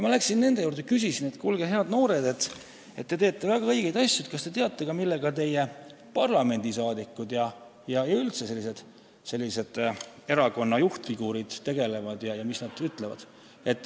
Ma läksin nende juurde ja küsisin, et kuulge, head noored, kes te teete väga õigeid asju, kas te teate ka, millega teie parlamendisaadikud ja üldse erakonna juhtfiguurid tegelevad ja mis nad ütlevad.